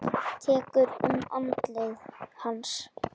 Tekur um andlit hans.